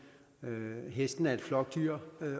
hesten er et flokdyr